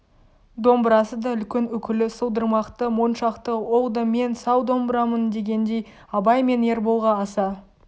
домбырасы да үлкен үкілі сылдырмақты моншақты ол да мен сал домбырамын дегендей абай мен ерболға аса